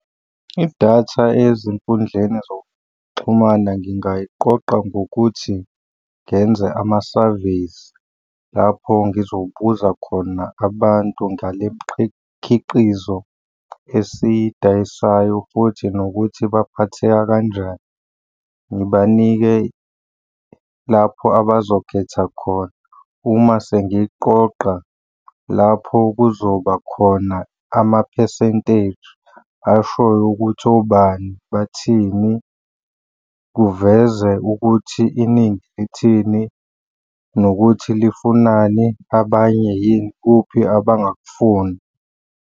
Idatha ezinkundleni zokuxhumana ngingayiqoqa ngokuthi ngenze ama-surveys lapho ngizobuza khona abantu ngale khiqizo esiyidayisayo futhi nokuthi baphatheka kanjani. Ngibanike lapho abazokhetha khona uma sengiqoqa lapho kuzoba khona ama-percentage ashoyo ukuthi obani bathini. Kuveze ukuthi iningi lithini nokuthi lifunani, abanye yini kuphi abangakufuni.